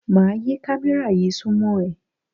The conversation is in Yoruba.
Máa yí kámẹ́rà yí súnmọ́ ẹ.